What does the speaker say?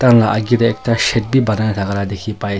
Thakan la agae dae ekta shade bi banaina thaka la dekhi pai --